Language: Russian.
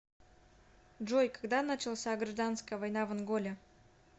джой когда начался гражданская война в анголе